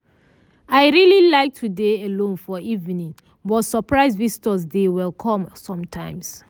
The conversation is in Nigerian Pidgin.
i really like to dey alone for evening but surprise visitor dey welcome sometimes.